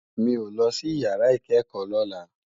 Mi ó lòsí iyàrá ikèékò lòlá